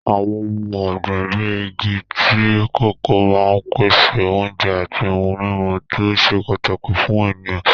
Àwọn ohun ọ̀gbìn bíi igi tíì kòkó máa ń pèsè oúnjẹ àti ohun-mímu tó ṣe pàtàkì fún ènìyàn.